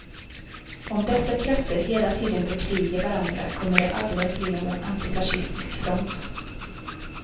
Om dessa krafter hela tiden bekrigar varandra kommer det aldrig att bli någon antifascistisk front.